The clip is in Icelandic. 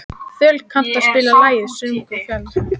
Þöll, kanntu að spila lagið „Söngur fjallkonunnar“?